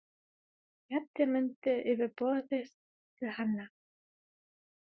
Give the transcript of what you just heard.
Réttir myndina yfir borðið til hennar.